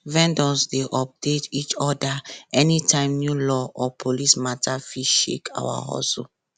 vendors dey update each other anytime new law or police matter fit shake our hustle